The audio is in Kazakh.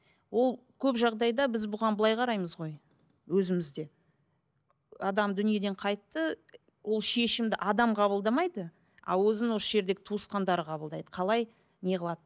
ол көп жағдайда біз бұған былай қараймыз ғой өзіміз де адам дүниеден қайтты ол шешімді адам қабылдамайды а өзін осы жердегі туысқандары қабылдайды қалай неғылады